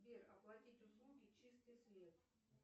сбер оплатить услуги чистый свет